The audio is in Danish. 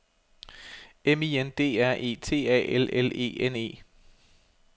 M I N D R E T A L L E N E